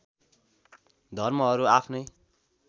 धर्महरू आफ्नै